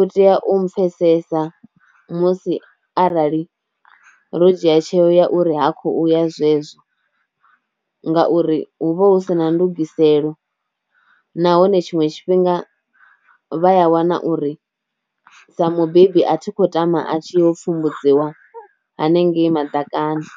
u tea u pfesesa musi arali ro dzhia tsheo ya uri ha khouya zwezwo, ngauri hu vha hu si na ndugiselo nahone tshiṅwe tshifhinga vha a wana uri sa mubebi a thi khou tama a tshi ho pfumbudziwa hanengei madakani.